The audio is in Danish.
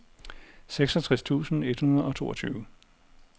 seksogtres tusind et hundrede og toogtyve